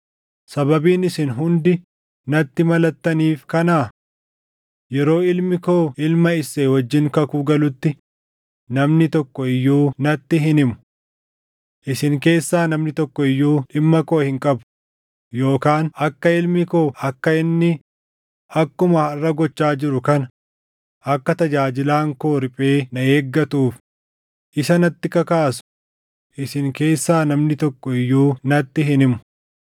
Sababiin isin hundi natti malattaniif kanaa? Yeroo ilmi koo ilma Isseey wajjin kakuu galutti namni tokko iyyuu natti hin himu. Isin keessaa namni tokko iyyuu dhimma koo hin qabu yookaan akka ilmi koo akka inni akkuma harʼa gochaa jiru kana akka tajaajilaan koo riphee na eeggatuuf isa natti kakaasu isin keessaa namni tokko iyyuu natti hin himu.”